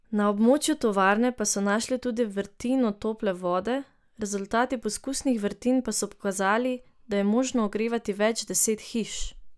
Na območju tovarne pa so našli tudi vrtino tople vode, rezultati poskusnih vrtin pa so pokazali, da je možno ogrevati več deset hiš.